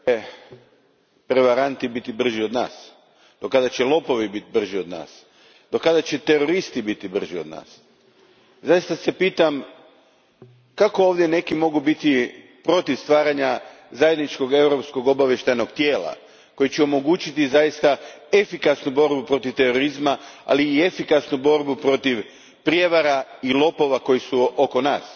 Gospođo predsjednice, do kada će prevaranti biti brži od nas, do kada će lopovi biti brži od nas, do kada će teroristi biti brži od nas? Zaista se pitam kako ovdje neki mogu biti protiv stvaranja zajedničkog europskog obavještajnog tijela koje će omogućiti zaista efikasnu borbu protiv terorizma, ali i efikasnu borbu protiv prijevara i lopova koji su oko nas.